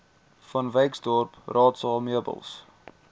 vanwyksdorp raadsaal meubels